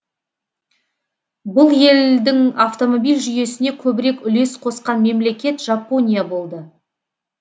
бұл елдің автомобиль жүйесіне көбірек үлес қосқан мемлекет жапония болды